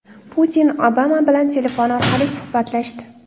Putin Obama bilan telefon orqali suhbatlashdi.